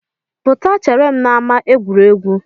Pụta chere m n'ama egwuregwu!